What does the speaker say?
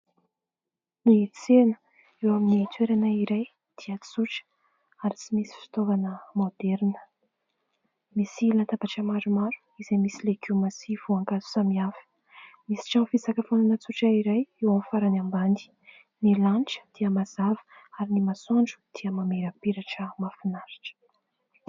Ny tsena eo amin'ny toerana iray dia tsotra ary tsy misy fitaovana moderina. Misy latabatra maromaro izay misy legioma sy voankazo samihafa. Misy trano fisakafoana tsotra iray eo amin'ny farany ambany. Ny lanitra dia mazava, ary ny masoandro dia mamirapiratra mahafinaritra.